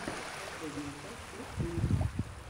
последняя часть липтун